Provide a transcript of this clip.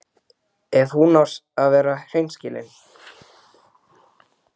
Fögur er hlíðin, sagði Gunnar á Hlíðarenda.